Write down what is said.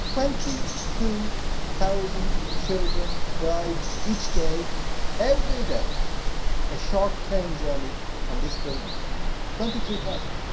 Twenty two thousand children die each day, every day, a short plane journey from this building. Twenty two thousand.